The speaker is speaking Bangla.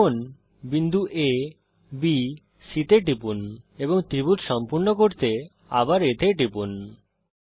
ত্রিভুজ চিত্রকে সম্পূর্ণ করতে বিন্দু abসি তে টিপুন এবং আবার বিন্দু A তে টিপুন